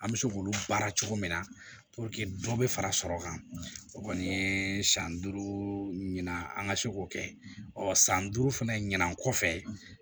An bɛ se k'olu baara cogo min na dɔ bɛ fara sɔrɔ kan o kɔni ye san duuru ɲɛna an ka se k'o kɛ ɔ san duuru fana ɲinan kɔfɛ